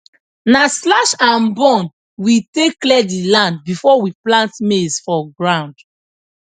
na slashandburn we take clear the land before we plant maize for ground